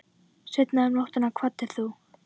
Seinna um nóttina kvaddir þú.